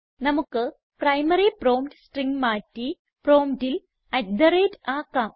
നമുക്ക് primary prompt string മാറ്റി പ്രോംപ്റ്റിൽ അട്ട് തെ റേറ്റ് ltgt ആക്കാം